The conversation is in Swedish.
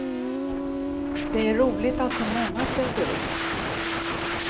Det är roligt att så många ställde upp.